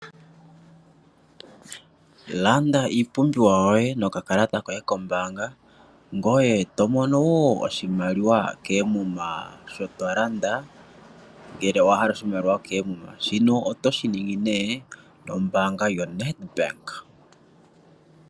Landa iipumbiwa yoye nokakalata koye kombaanga ngoye tomono woo oshimaliwa keemuna sho tolanda ngele owahala oshimaliwa keemuma ,shino otoshi ningi nee nombaanga yo NEDBANK.